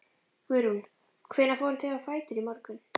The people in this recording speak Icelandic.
Guðrún: Hvenær fóruð þið á fætur í morgun?